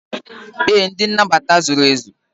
ee, ndị nnabata zuru ezu.